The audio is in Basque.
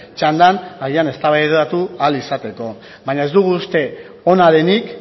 txandan agian eztabaidatu ahal izateko baina ez dugu uste ona denik